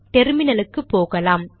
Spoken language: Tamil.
டெர்மினலுக்கு போகலாம்